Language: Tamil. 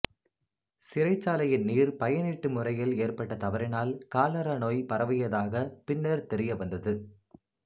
சிறைச்சாலையின் நீர் பயனீட்டு முறையில் ஏற்பட்ட தவறினால் காலரா நோய் பரவியதாகதாகப் பின்னர் தெரிய வந்தது